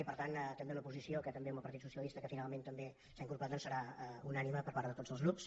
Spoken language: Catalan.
i per tant també una posició que també amb el partit socialista que finalment també s’hi ha incorporat serà unànime per part de tots els grups